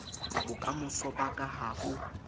bokamoso ba ka ha o